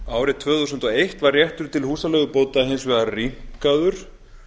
árið tvö þúsund og eitt var réttur til húsaleigubóta hins vegar rýmkaður